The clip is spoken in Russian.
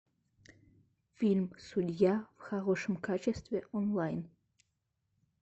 фильм судья в хорошем качестве онлайн